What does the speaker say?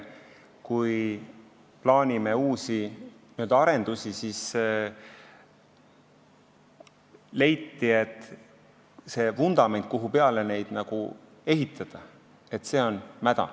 Kui plaanime uusi n-ö arendusi, siis leiti, et see vundament, kuhu peale neid ehitada, on mäda.